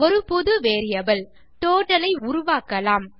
ஒரு புதிய variable total ஐ உருவாக்கலாம்